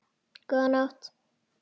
Góða nótt!